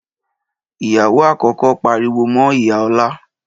Ìyàwó àkọ́kọ́ pariwo mọ́ ìyá Ọlá.